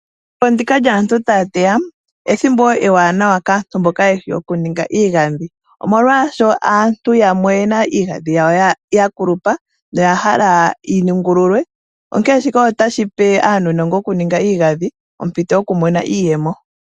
Ethimbo ndika lyaantu teya ethimbo ndjoka ewanawa kaantu mboka yeshi oku ninga iigadhi. Omolwasho aantu yamwe oyena iigadhi yawo ya kulupa noya hala yi ningululwe. Onkene shika otashi pe aanogo yoku ninga iigadhi ompito yoku imonena iiyemo.